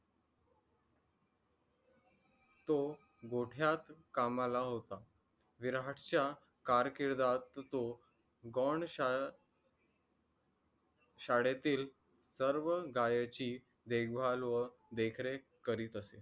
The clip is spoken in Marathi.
तो गोठ्यात कामाला होता. विराटच्या कारकिदात त्यो गोण शाळ शाळेतील सर्व गायींची देखबाल व देखरेख करीत असे.